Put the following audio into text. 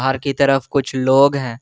बाहर की तरफ कुछ लोग हैं।